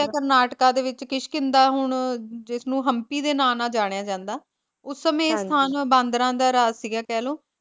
ਕਰਨਾਟਕਾ ਦੇ ਵਿੱਚ ਕਿਸ਼ਕਿੰਦਾ ਹੁਣ ਜਿਸਨੂੰ ਹੁਣ ਹਮਪੀ ਦੇ ਨਾਂ ਨਾਲ ਜਾਣਿਆ ਜਾਂਦਾ, ਉਸ ਸਮੇਂ ਇਸ ਸਥਾਨ ਬਾਂਦਰਾਂ ਦਾ ਰਾਜ ਸੀਗਾ ਕਹਿਲੋ